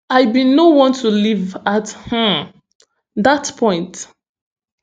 i bin no want to live at um dat point